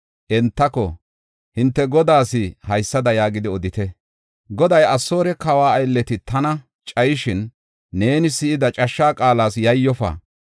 entako, “Hinte godaas haysada yaagidi odite: Goday, ‘Asoore kawa aylleti tana cayishin, neeni si7ida cashsha qaalas yayyofa.